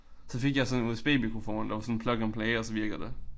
Så fik jeg så en USB-mikrofon der var sådan plug and play og så virkede det